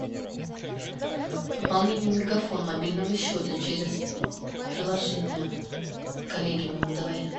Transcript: пополнение мегафон мобильного счета через приложение коллеги моему давай